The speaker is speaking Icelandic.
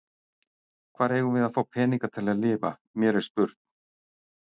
Hvar eigum við að fá peninga til að lifa, mér er spurn.